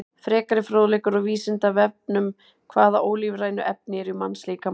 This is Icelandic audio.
Frekari fróðleikur á Vísindavefnum: Hvaða ólífrænu efni eru í mannslíkamanum?